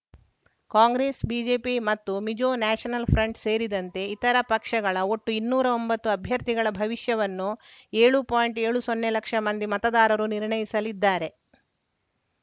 Congress BJP ಮತ್ತು Mizo National Front ಸೇರಿದಂತೆ ಇತರ ಪಕ್ಷಗಳ ಒಟ್ಟು ಇನ್ನೂರ ಒಂಬತ್ತು ಅಭ್ಯರ್ಥಿಗಳ ಭವಿಷ್ಯವನ್ನು ಏಳು ಪಾಯಿಂಟ್ ಏಳು ಸೊನ್ನೆ ಲಕ್ಷ ಮಂದಿ ಮತದಾರರು ನಿರ್ಣಯಿಸಲಿದ್ದಾರೆ